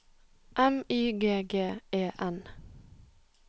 M Y G G E N